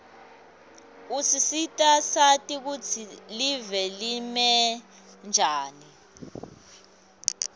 usisita sati kutsi live limenjani